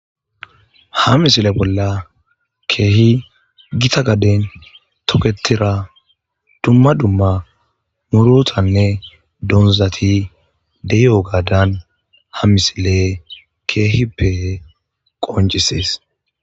Ha misile bolla keehi gita gaden toketira dumma dumma murotanne donzati dey7o gaadan ha misile keehippe qonjisees